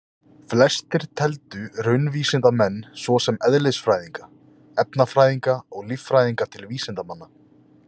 Flestir teldu raunvísindamenn svo sem eðlisfræðinga, efnafræðinga eða líffræðinga til vísindamanna.